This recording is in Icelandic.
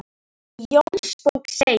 Í Jónsbók segir